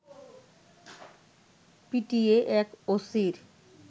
পিটিয়ে এক ওসির